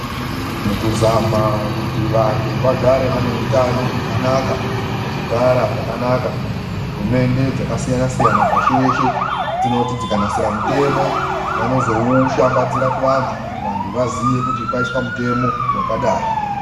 Mukuzama kuti vantu vagare vane utano hwakanaka nekugara zvakanaka, hurumende dzakasiyanasiyana pashi reshe dzinoti dzikanasira mutemo vanozoushambadzira kuvantu kuti vantu vaziye kuti kwaiswa mutemo wakadai.